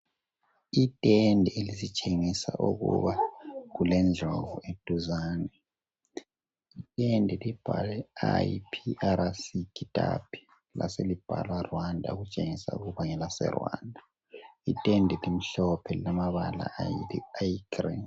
Itende elisitshengisa ukuba kule ndlovu eduzane itende libhalwe IPRC Kitapi laselibhalwa Rwanda okutshengisa ukuba ngelase Rwanda itende elimhlophe elilamabala ayi green .